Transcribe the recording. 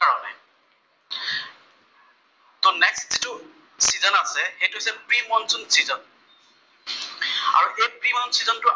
যিটো চিজন আছে, সেইটো হৈছে প্ৰি মনচুন চিজন, আৰু এই প্ৰি মনচুন চিজন টোৰ আৰ